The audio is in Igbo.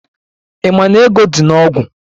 Ị maa n'ego di n'ọgwu?